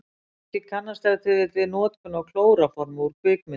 Margir kannast ef til vill við notkun á klóróformi úr kvikmyndum.